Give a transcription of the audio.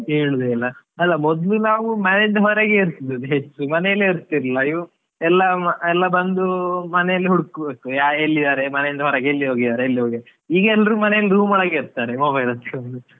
ಕೇಳುದೇ ಇಲ್ಲ, ಅಲಾ ಮೊದ್ಲು ನಾವು ಮನೆಯಿಂದ ಹೊರಗೆ ಇರ್ತಿದ್ದದ್ದು ಹೆಚ್ಚು ಮನೆಯಲ್ಲೇ ಇರ್ತಿಲಿಲ್ಲ ಈವಾಗ ಎಲ್ಲ ಎಲ್ಲ ಬಂದು ಮನೆಲೀ ಹುಡ್ಕುಬೇಕು, ಎಲ್ಲಿದಾರೆ ಮನೆಯಿಂದ ಹೊರಗೆ ಎಲ್ಲಿ ಹೋಗಿದಾರೆ ಎಲ್ಲಿ ಹೋಗಿದಾರೆ ಈಗ ಎಲ್ರು ಮನೆ room ಒಳಗೆ ಇರ್ತಾರೆ mobile ಒತ್ತಿಕೊಂಡು .